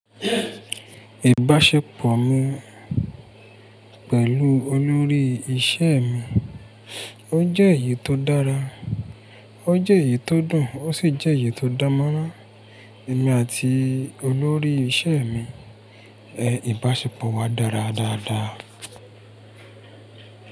Ìbáṣepọ̀ mi pẹ̀lú olórí iṣẹ́ mi, ó jẹ́ èyí tó dára, ó jẹ́ èyí tó dùn, ó sì jẹ́ èyí tó dánmọ́rán. Èmi àti olórí iṣẹ́ mi, ìbáṣepọ̀ wa dára dáadáa.